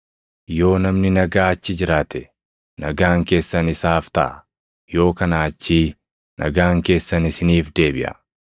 Yoo namni nagaa achi jiraate, nagaan keessan isaaf taʼa; yoo kanaa achii nagaan keessan isiniif deebiʼa.